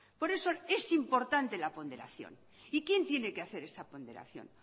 por eso es importante la ponderación y quién tiene que hacer esa ponderación